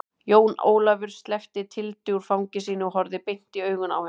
Jón Ólafur sleppti Tildu úr fangi sínu og horfði beint i augun á henni.